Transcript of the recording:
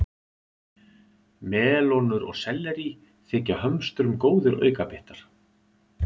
Melónur og sellerí þykja hömstrum góðir aukabitar.